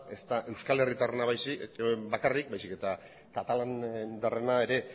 ez da euskal herritarrena bakarrik baizik eta katalandarrena ere